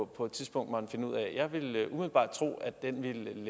på et tidspunkt måtte finde ud af jeg vil umiddelbart tro at den vil